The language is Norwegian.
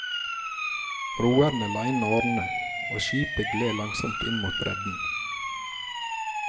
Roerne la inn årene, og skipet gled langsomt inn mot bredden.